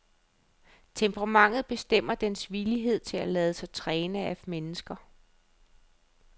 Temperamentet bestemmer dens villighed til at lade sig træne af mennesker.